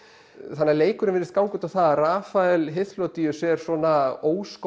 þannig að leikurinn virðist ganga út á það að Rafael Hyþlódíus er svona